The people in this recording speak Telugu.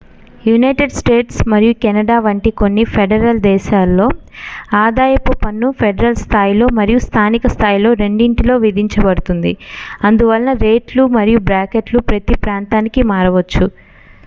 యునైటెడ్ స్టేట్స్ మరియు కెనడా వంటి కొన్ని ఫెడరల్ దేశాలలో ఆదాయపు పన్ను ఫెడరల్ స్థాయిలో మరియు స్థానిక స్థాయిలో రెండింటిలో విధించబడుతుంది అందువలన రేట్లు మరియు బ్రాకెట్లు ప్రతీ ప్రాంతానికి మారవచ్చు